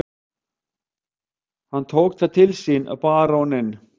Hann tók það til sínBaróninn